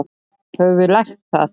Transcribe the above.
Höfum við lært það?